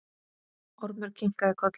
Ormur kinkaði kolli.